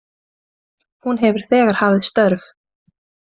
Hún hefur þegar hafið störf